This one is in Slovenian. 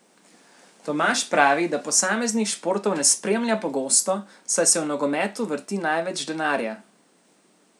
Tomaž pravi, da posameznih športov ne spremlja pogosto, saj se v nogometu vrti največ denarja.